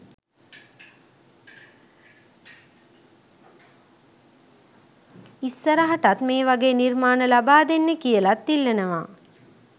ඉස්සරහටත් මේ වගේ නිර්මාණ ලබා දෙන්න කියලත් ඉල්ලනවා